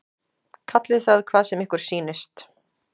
Kallið það hvað sem ykkur sýnist.